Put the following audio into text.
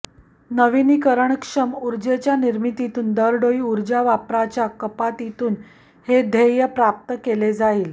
नविनीकरणक्षम ऊर्जेच्या निर्मितीतून दरडोई ऊर्जा वापराच्या कपातीतून हे ध्येय प्राप्त केले जाईल